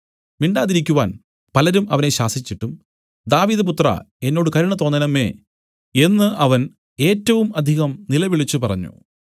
മിണ്ടാതിരിക്കുവാൻ പലരും അവനെ ശാസിച്ചിട്ടും ദാവീദുപുത്രാ എന്നോട് കരുണ തോന്നേണമേ എന്നു അവൻ ഏറ്റവും അധികം നിലവിളിച്ചുപറഞ്ഞു